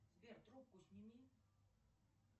сбер трубку сними